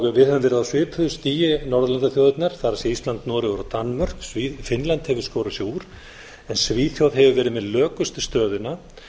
höfum verið á svipuðu stigi og norðurlandaþjóðirnar það er ísland noregur og danmörk finnland hefur skorið sig úr en svíþjóð hefur verið með lökustu stöðuna